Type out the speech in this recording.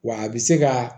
Wa a bɛ se ka